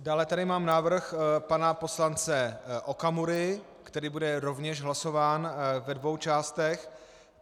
Dále tady mám návrh pana poslance Okamury, který bude rovněž hlasován ve dvou částech.